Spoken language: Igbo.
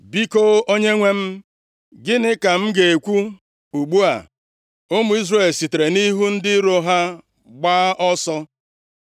Biko, Onyenwe m, Gịnị ka m ga-ekwu ugbu a ụmụ Izrel sitere nʼihu ndị iro ha gbaa ọsọ?